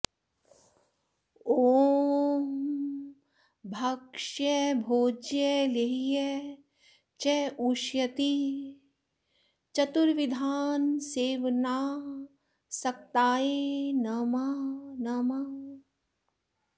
ॐ भक्ष्य भोज्य लेह्य चोष्येति चतुर्विधान्न सेवनासक्ताय नमः